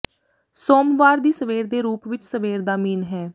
ਸੋਮਵਾਰ ਦੀ ਸਵੇਰ ਦੇ ਰੂਪ ਵਿੱਚ ਸਵੇਰ ਦਾ ਮੀਨ ਹੈ